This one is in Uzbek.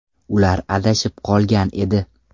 Ular adashib qolgan edi.